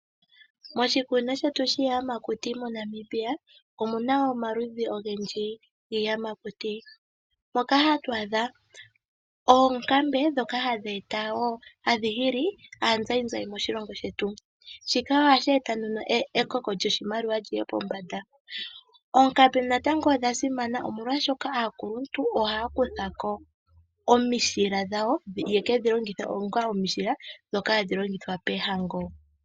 Moshikunino shetu shiiyamakuti mo Namibia omuna omaludhi ogendji giiyamakuti moka hatu adha oonkambe dhoka hadhi hili aanzayinzayi moshilongo shetu, shika ohashi eta nduno ekoko lyoshimaliwa lyiye pombanda. Oonkambe natango odha simana omolwashoka aakuluntu ohaya kuthako omishila dhayo yekedhi longithe onga omishila dhoka hadhi longithwa poohango.